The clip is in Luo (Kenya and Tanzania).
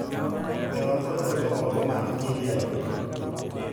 We wago thumbe moko mag indie rock